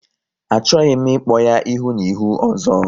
Achọghị m ịkpọ ya ihu na ihu ọzọ!